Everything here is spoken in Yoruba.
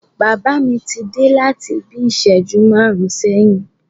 Bàbá mi ti dé láti bí ìṣẹ́jú márùn-ún sẹ́yìn.